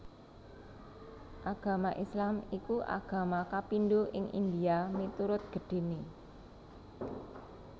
Agama Islam iku agama kapindho ing India miturut gedhéné